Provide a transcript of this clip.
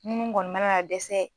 Munnu kɔni mana na dɛsɛ